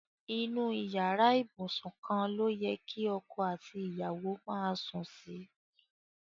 Inu iyara ibusun kan lo ye ki oko ati iyawo maa sun si